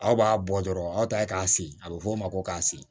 Aw b'a bɔ dɔrɔn aw ta ye k'a siri a bɛ fɔ o ma ko k'a si